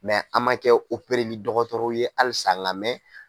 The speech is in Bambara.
an ma kɛ opereli dɔgɔtɔrɔw ye halisa lamɛn.